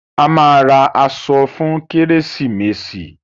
A máa ra aṣọ fún kérésìmesì.